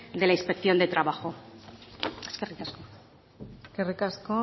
de la inspección de trabajo eskerrik asko eskerrik asko